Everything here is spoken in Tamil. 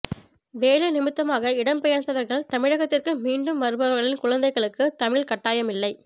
வேலை நிமித்தமாக இடம் பெயர்ந்தவர்கள் தமிழகத்துக்கு மீண்டும் வருபவர்களின் குழந்தைகளுக்கு தமிழ் கட்டாயம் இல்லை